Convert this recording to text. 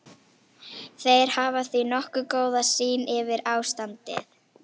Þeir hafa því nokkuð góða sýn yfir ástandið.